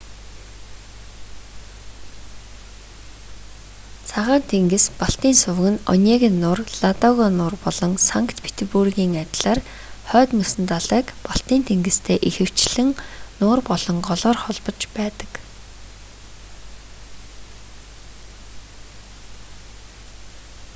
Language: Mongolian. цагаан тэнгис-балтийн суваг нь онега нуур ладога нуур болон санкт петербургийн адилаар хойд мөсөн далайг балтийн тэнгистэй ихэвчлэн нуур болон голоор холбож байдаг